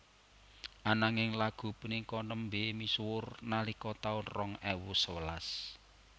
Ananging lagu punika nembé misuwur nalika taun rong ewu sewelas